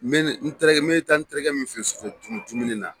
Mɛna n taara n bɛ ta n'terikɛ min fɛ sug dum dumuni na.